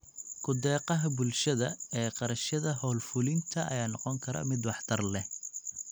Ku-deeqaha bulshada ee kharashyada hawl-fulinta ayaa noqon kara mid waxtar leh.